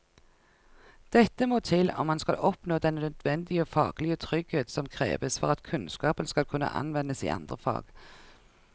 Dette må til om man skal oppnå den nødvendige faglige trygghet som kreves for at kunnskapen skal kunne anvendes i andre fag.